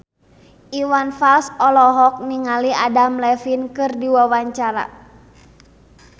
Iwan Fals olohok ningali Adam Levine keur diwawancara